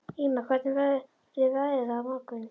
Ýma, hvernig verður veðrið á morgun?